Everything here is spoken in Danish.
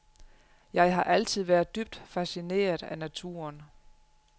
Jeg har altid været dybt fascineret af naturen.